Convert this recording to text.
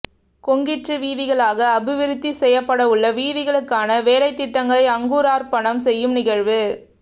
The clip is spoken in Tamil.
கொங்கிறீற்று வீதிகளாக அபிவிருத்தி செய்யப்படவுள்ள வீதிகளுக்கான வேலைத்திட்டங்களை அங்குரார்ப்பணம் செய்யும் நிகழ்வு